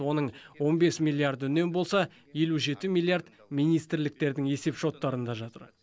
оның он бес миллиарды үнем болса елу жеті миллиард министрліктердің есепшоттарында жатыр